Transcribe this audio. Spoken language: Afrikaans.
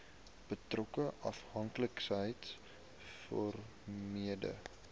betrokke afhanklikheids vormende